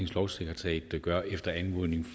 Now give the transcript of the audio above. lovsekretariat gør efter anmodning